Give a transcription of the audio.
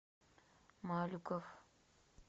малюков